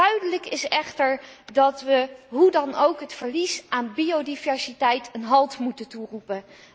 Duidelijk is echter dat we hoe dan ook het verlies aan biodiversiteit een halt moeten toeroepen.